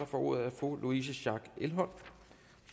får ordet er fru louise schack elholm